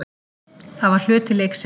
Það var hluti leiksins.